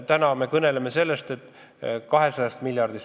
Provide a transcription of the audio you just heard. Täna me kõneleme 200 miljardist.